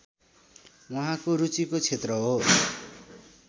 उहाँको रुचिको क्षेत्र हो